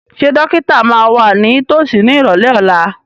Ṣé dókítà máa wà ní tòsí ní ìrọ̀lẹ́ ọ̀la?